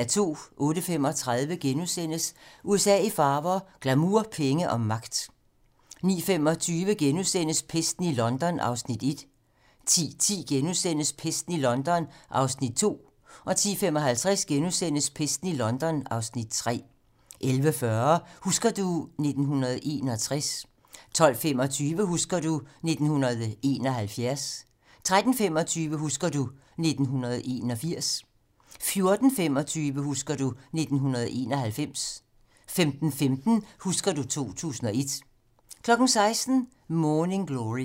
08:35: USA i farver - glamour, penge og magt * 09:25: Pesten i London (Afs. 1)* 10:10: Pesten i London (Afs. 2)* 10:55: Pesten i London (Afs. 3)* 11:40: Husker du ... 1961 12:25: Husker du ... 1971 13:25: Husker du ... 1981 14:25: Husker du ... 1991 15:15: Husker du ... 2001 16:00: Morning Glory